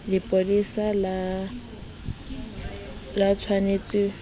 lepolesa le tsh wanetse ho